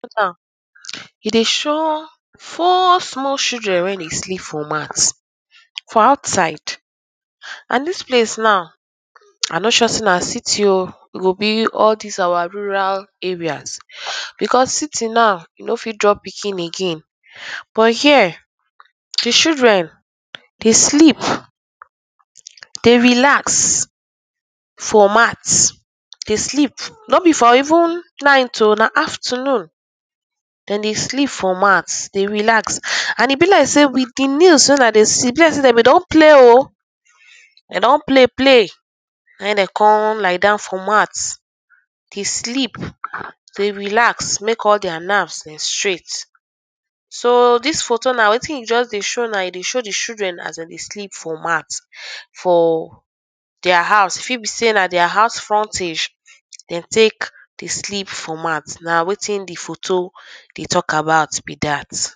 E dey show four small children wey dey sleep for mat and dis place now I no sure sey now I no sure say na city oh, e go be all dis our rural areas becos city now no fit drop pikin again but here di children dey sleep, dey relax for mat no be for even night oh na afternoon, dem dey sleep for mat dey relax and be like sey with di nails wey I dey see dem go don play oh, dem don play play come lie down for mat dey sleep dey relax make all dia nerves dey straight. So dis photo now wetin e just dey show now e dey show children as dem dey sleep for mat for dia house, e fit be sey na dia house frontage dey take dey sleep for mat, na wetin di photo dey talk about be dat.